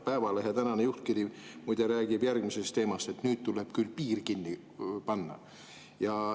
Päevalehe tänane juhtkiri muide räägib järgmisest teemast, et nüüd tuleb küll piir kinni panna.